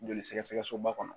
Joli sɛgɛsɛgɛ soba kɔnɔ